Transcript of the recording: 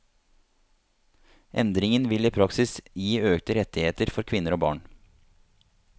Endringen vil i praksis gi økte rettigheter for kvinner og barn.